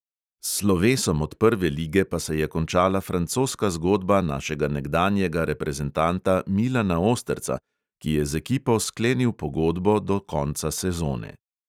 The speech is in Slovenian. S slovesom od prve lige pa se je končala francoska zgodba našega nekdanjega reprezentanta milana osterca, ki je z ekipo sklenil pogodbo do konca sezone.